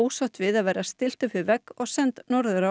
ósátt við að vera stillt upp við vegg og send norður